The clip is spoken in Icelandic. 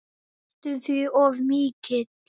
Næstum því of mikill.